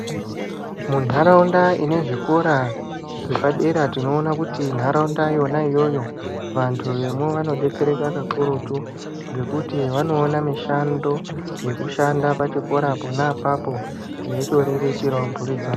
Muntaraunda dzine zvikora zvepadera tinoona kuti ntaraunda yona iyoyo vantu vemwo vanodetsereka kakurutu ngekuti vanoona mishando yekushanda pachikora pona apapo veitoriritirawo mburi dzavo .